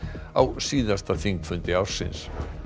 á síðasta þingfundi ársins